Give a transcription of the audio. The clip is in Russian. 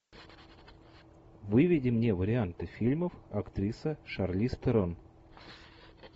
выведи мне варианты фильмов актриса шарлиз терон